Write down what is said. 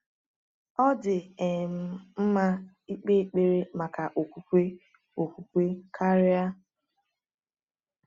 Ọ dị um mma ịkpe ekpere maka okwukwe okwukwe karịa.